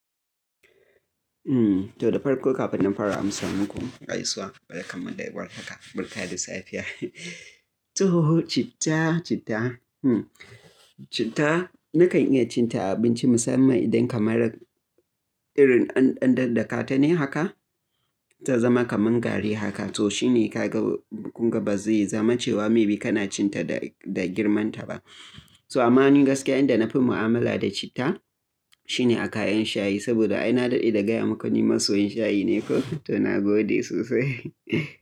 To da farko kafin na fara amsa muku gaisuwa, barkan mu da warhaka barka da safiya. To citta, citta. Citta nakan iya cin ta a abinci musamman idan kamar irin an ɗan daddakata ne haka ta zama kaman gari haka. To shi ne ka ga kunga ba zai zama cewa maybe kana cin ta da girman ta ba. So amma ni gaskiya inda na fi mu'amala da citta shine a kayan shayi saboda ai na daɗe da gaya maka ni masoyin shayi ne ko? To na gode sosai.